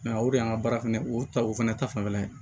o de y'an ka baara fana o ta o fɛnɛ ta fanfɛla ye